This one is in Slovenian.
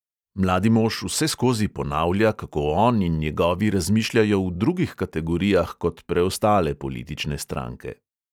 Mladi mož vseskozi ponavlja, kako on in njegovi razmišljajo v drugih kategorijah kot preostale politične stranke.